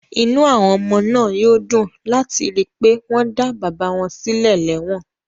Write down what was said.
Inú àwọn ọmọ náà yóò dùn láti rí i pé wọ́n dá bàbá wọn sílẹ̀ lẹ́wọ̀n